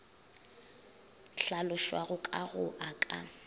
hlalošwago ka go a ka